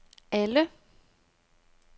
alle